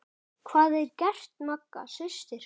Hvað gerði Magga systir?